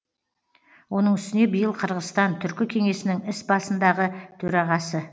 оның үстіне биыл қырғызстан түркі кеңесінің іс басындағы төрағасы